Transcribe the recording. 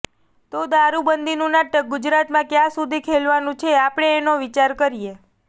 તો દારુબંધીનું નાટક ગુજરાતમાં કયાં સુધી ખેલવાનું છે આપણે એનો વિચાર કરીએ